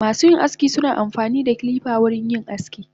Masuyin aski suna amfanida kilifa wurin yin aski.